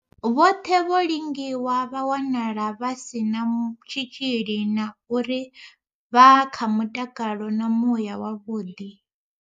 Vhoṱhe vho lingiwa vha wanala vha si na tshitzhili na uri vha kha mutakalo na muya wa vhuḓi.